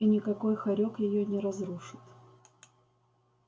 и никакой хорёк её не разрушит